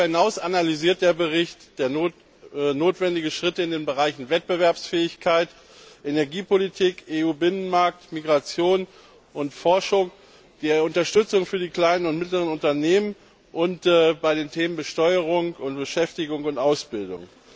Darüber hinaus analysiert der Bericht notwendige Schritte in den Bereichen Wettbewerbsfähigkeit, Energiepolitik, EU Binnenmarkt, Migration und Forschung, bei der Unterstützung für die kleinen und mittleren Unternehmen und bei den Themen Besteuerung, Beschäftigung und Ausbildung.